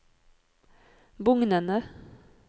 bugnende